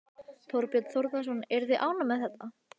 Þorbjörn Þórðarson: Eruð þið ánægð með þetta?